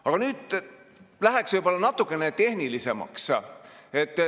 Aga nüüd lähen võib-olla natuke tehnilisemaks.